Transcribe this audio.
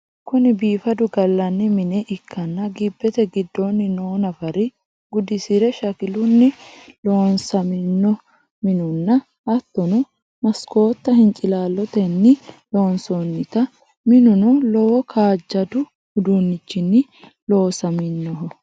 Kuni biifadu gallanni mine ikkanna gibete giddonni noo nafari gudisire shakilunni loosaminno minuno hatto masikotta hincilaallotenni loonsonnite minunno lowo kaajjaddu udunnichinni loosaminnoho.